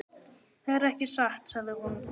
Það er ekki satt, sagði hún.